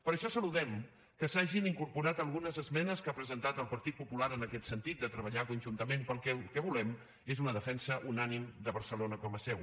per això saludem que s’hi hagin incorporat algunes esmenes que ha presentat el partit popular en aquest sentit de treballar conjuntament perquè el que volem és una defensa unànime de barcelona com a seu